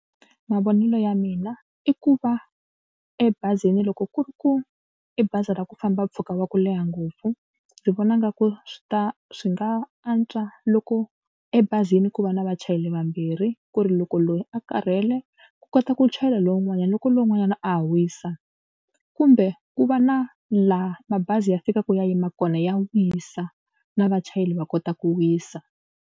Mavonelo ya mina i ku va ebazini loko ku ri ku i bazi ra ku famba mpfhuka wa ku leha ngopfu ndzi vona nga ku swi ta swi nga antswa loko ebazini ku va na vachayeri vambirhi ku ri loko loyi a karhele ku kota ku chayela lowun'wanyana loko lowun'wanyana a ha wisa kumbe ku va na laha mabazi ya fikaka ya yima kona ya wisa na vachayeri va kota ku wisa.